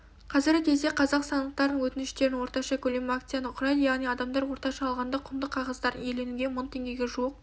қазіргі кезде қазақстандықтардың өтініштерінің орташа көлемі акцияны құрайды яғни адамдар орташа алғанда құнды қағаздарын иеленуге мың теңгеге жуық